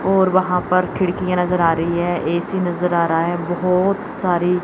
और वहाॅं पर खिड़कीयां नजर आ रहीं हैं ए_सी नजर आ रहा हैं बहोत सारी--